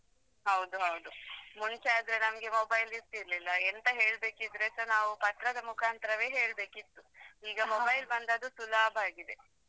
ಹೌದು ಹೌದು ಮುಂಚೆ ಆದ್ರೆ ನಮ್ಗೆ mobile ಇರ್ತಿರ್ಲಿಲ್ಲಾ ಎಂತ ಹೇಳ್ಬೇಕಿದ್ರೆಸಾ ನಾವ್ ಪತ್ರದ ಮುಖಾಂತರೆವೆ ಹೇಳ್ಬೇಕಿತ್ತು. ಈಗ mobile ಬಂದದು ಸುಲಭಾಗಿದೆ.